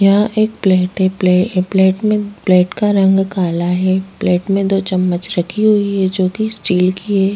यहां एक प्लेट है प्लेट प्लेट में प्लेट का रंग काला है प्लेट में दो चमच रखी हुई है जो की स्टील की है।